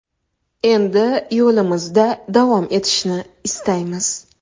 Endi yo‘limizda davom etishni istaymiz.